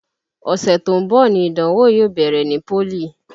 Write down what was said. Ọṣẹ tó ń bọ̀ ni ìdánwò yóò bẹ̀rẹ̀ ní pólì